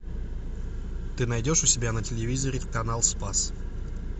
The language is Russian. ты найдешь у себя на телевизоре канал спас